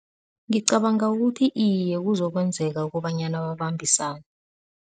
Ngicabanga ukuthi iye, kuzokwenzeka ukobanyana babambisane.